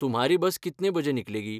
तुम्हारी बस कितने बजे निकलेगी?